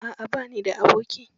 A'a ba ni da aboki.